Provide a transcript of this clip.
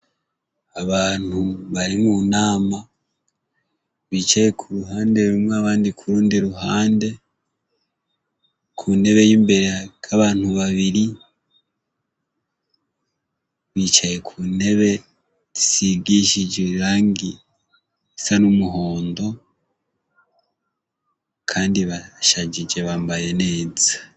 Abantu bari mu nama bicaye ku ruhande rumwe abandi kurundi ruhande, ku ntebe y'imbere hariko abantu babiri bicaye ku ntebe isigishije irangi ry'umuhondo kandi barashajije bambaye neza.